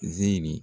Zeri